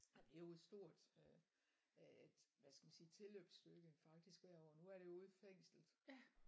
Og det jo et stort øh hvad skal man sige tilløbsstykke hvert år nu er det jo ude i fængslet